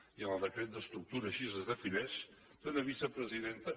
i en el decret d’estructura així es defineix té una vicepresidenta